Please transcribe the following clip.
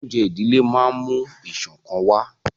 Oúnjẹ ìdílé máa ń mú ìṣọ̀kan wà